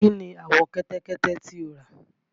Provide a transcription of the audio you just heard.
Kí ni àwọ̀ kẹ́tẹ́kẹ́tẹ́ tí o rà?